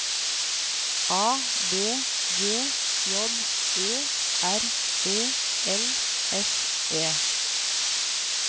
A V G J Ø R E L S E